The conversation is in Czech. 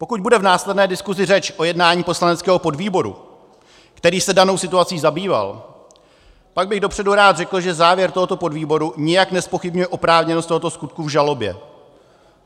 Pokud bude v následné diskusi řeč o jednání poslaneckého podvýboru, který se danou situací zabýval, tak bych dopředu rád řekl, že závěr tohoto podvýboru nijak nezpochybňuje oprávněnost tohoto skutku v žalobě.